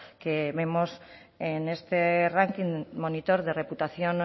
que vemos en este ranking monitor de reputación